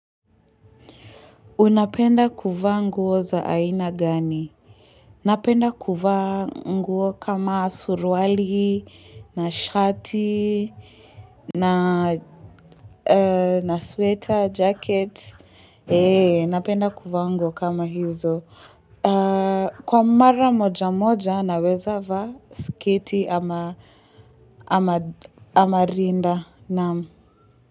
Unapenda kuvaa nguo za aina gani? Napenda kuvaa nguo kama surwali, na shati, na sweta, jacket. Napendakuvaa nguo kama hizo. Kwa mara moja moja, naweza vaa sketi ama rinda.